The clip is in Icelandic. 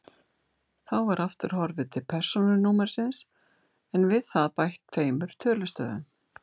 Þá var aftur horfið til persónunúmersins en við það bætt tveimur tölustöfum.